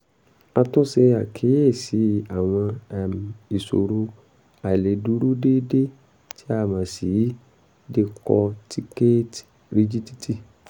a tún ṣe àkíyèsí àwọn um ìṣòro àìlèdúró déédé tí a mọ̀ sí decorticate rigidity